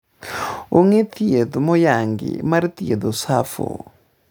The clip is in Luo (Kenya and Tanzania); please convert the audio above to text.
onge thieth moyanngi mar thiedho SAPHO